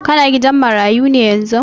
Ka na gidan marayu ne yanzun?